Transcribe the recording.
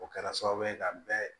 O kɛra sababu ye ka bɛn